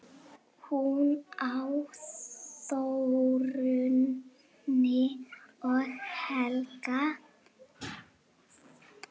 Hún á Þórunni og Helga.